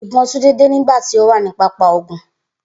Ibon Tunde de nigba ti o wa ni papa ogun